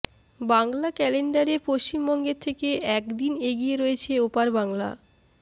বাংলা ক্যালেন্ডারে পশ্চিমবঙ্গের থেকে একদিন এগিয়ে রয়েছে ওপার বাংলা